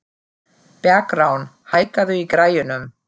Bergrán, hækkaðu í græjunum.